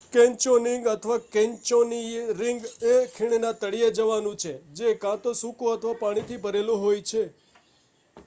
canyoning અથવા: canyoneering એ ખીણના તળિયે જવાનું છે જે કાં તો સુકું અથવા પાણીથી ભરેલું હોય છે